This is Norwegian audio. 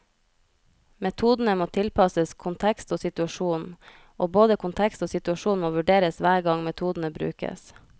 Metodene må tilpasses kontekst og situasjon, og både kontekst og situasjon må vurderes hver gang metodene brukes.